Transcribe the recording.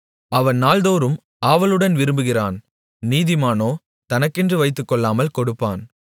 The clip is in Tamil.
அவன் நாள்தோறும் ஆவலுடன் விரும்புகிறான் நீதிமானோ தனக்கென்று வைத்துக்கொள்ளாமல் கொடுப்பான்